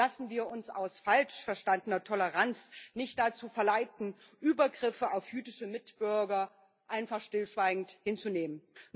Lassen wir uns aus falsch verstandener Toleranz nicht dazu verleiten, Übergriffe auf jüdische Mitbürger einfach stillschweigend hinzunehmen.